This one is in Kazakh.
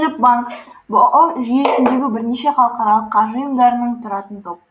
дүниежүзілік банк бұұ жүйесіндегі бірнеше халықаралық қаржы ұйымдарынан тұратын топ